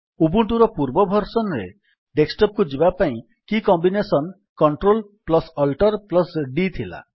ଉବୁଣ୍ଟୁର ପୂର୍ବ ଭର୍ସନ୍ ରେ ଡେସ୍କଟପ୍ କୁ ଯିବା ପାଇଁ କି କମ୍ବିନେସନ୍ CltAltD ଥିଲା